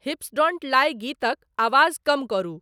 हिप्स don't lie गीतक आवाज कम करू ।।